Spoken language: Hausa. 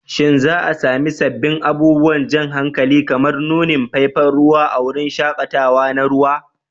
Shin za a sami sabbin abubuwan jan hankali kamar nunin faifan ruwa a wurin shaƙatawa na ruwa?